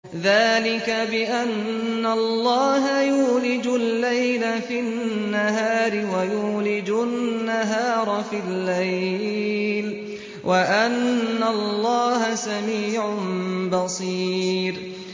ذَٰلِكَ بِأَنَّ اللَّهَ يُولِجُ اللَّيْلَ فِي النَّهَارِ وَيُولِجُ النَّهَارَ فِي اللَّيْلِ وَأَنَّ اللَّهَ سَمِيعٌ بَصِيرٌ